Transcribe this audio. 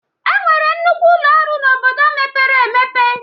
Enwere nnukwu ụlọ ọrụ na obodo mepere emepe